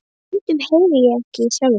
Stundum heyri ég ekki í sjálfum mér.